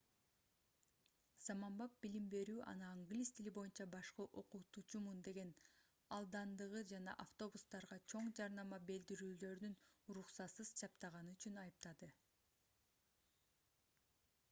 заманбап билим берүү аны англис тили боюнча башкы окутуучумун деп алдандыгы жана автобустарга чоң жарнама билдирүүлөрүн уруксатсыз чаптаганы үчүн айыптады